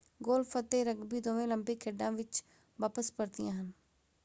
Golf ਅਤੇ rugby ਦੋਵੇਂ Olympic ਖੇਡਾਂ ਵਿੱਚ ਵਾਪਸ ਪਰਤੀਆਂ ਹਨ।